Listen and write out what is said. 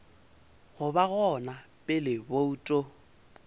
go ba gona pele bouto